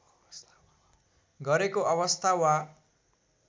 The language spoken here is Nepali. गरेको अवस्था वा